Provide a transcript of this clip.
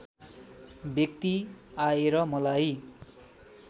व्यक्ति आएर मलाई